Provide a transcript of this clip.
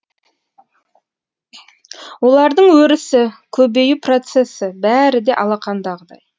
олардың өрісі көбею процесі бәрі де алақандағыдай